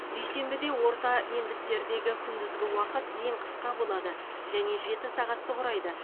дүйсенбіде орта ендіктердегі күндізгі уақыт ең қысқа болады және жеті сағатты құрайды